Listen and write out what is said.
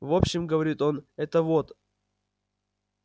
в общем говорит он это вот